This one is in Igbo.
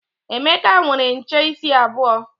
Emeka nwere nche isi abuo.